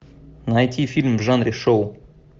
найти фильм в жанре шоу